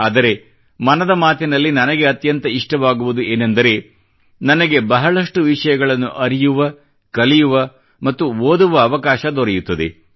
ಆದರೆ ಮನದ ಮಾತಿನಲ್ಲಿ ನನಗೆ ಅತ್ಯಂತ ಇಷ್ಟವಾಗುವುದು ಏನೆಂದರೆ ನನಗೆ ಬಹಳಷ್ಟು ವಿಷಯಗಳನ್ನು ಅರಿಯುವ ಕಲಿಯುವ ಮತ್ತು ಓದುವ ಅವಕಾಶ ದೊರೆಯುತ್ತದೆ